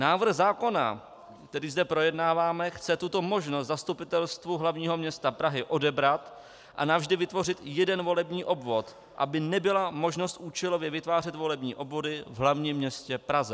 Návrh zákona, který zde projednáváme, chce tuto možnost Zastupitelstvu hlavního města Prahy odebrat a navždy vytvořit jeden volební obvod, aby nebyla možnost účelově vytvářet volební obvody v hlavním městě Praze.